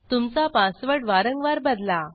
तुमचा पासवर्ड वारंवार बदला